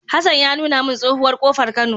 Hassan ya nuna min tsohuwar kofar Kano